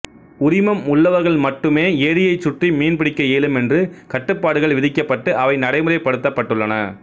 உரிமம் உள்ளவர்கள் மட்டுமே ஏரியைச் சுற்றி மீன்பிடிக்க இயலும் என்று கட்டுப்பாடுகள் விதிக்கப்பட்டு அவை நடை முறைப்படுத்தப்பட்டுள்ளன